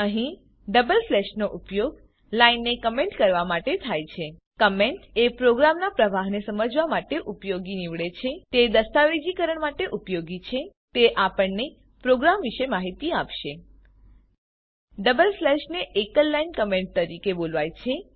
અહીં ડબલ સ્લેશનો ઉપયોગ લાઈનને કમેન્ટ કરવા માટે થાય છે કમેન્ટ એ પ્રોગ્રામનાં પ્રવાહને સમજવા માટે ઉપયોગી નીવડે છે તે દસ્તાવેજીકરણ માટે ઉપયોગી છે તે આપણને પ્રોગ્રામ વિશે માહિતી આપે છે ડબલ સ્લેશને એકલ લાઈન કમેન્ટ તરીકે બોલાવાય છે